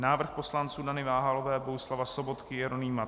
Návrh poslanců Dany Váhalové, Bohuslava Sobotky, Jeronýma